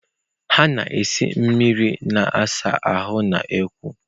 Ha na-esi mmiri na-asa ahụ n’ọkụ.